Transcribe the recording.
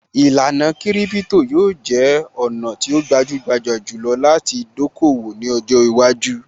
Īlànà kiripito yóò jẹ́ ọ̀nà tí ó gbajúgbajà jù lọ láti dókòwò ní ọjọ́ iwájú